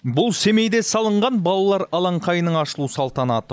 бұл семейде салынған балалар алаңқайының ашылу салтанаты